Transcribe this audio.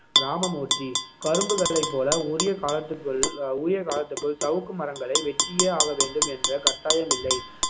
ராமமூர்த்தி கரும்புகளைப் போல உரிய காலத்துக்குள் அஹ் உரிய காலத்துக்குள் சவுக்கு மரங்களை வெட்டியே ஆக வேண்டும் என்ற கட்டாயமில்லை